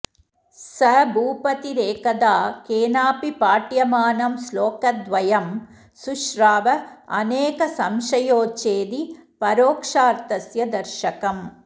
स भूपतिरेकदा केनापि पाठ्यमानं श्लोकद्वयं शुश्राव अनेकसंशयोच्छेदि परोक्षार्थस्य दर्शकम्